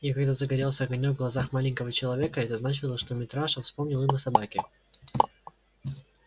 и когда загорелся огонёк в глазах маленького человека это значило что митраша вспомнил имя собаки